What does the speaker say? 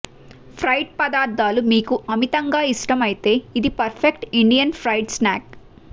fried పదార్థాలు మీకు అమితంగా ఇష్టం అయితే ఇది perfect Indian fried snack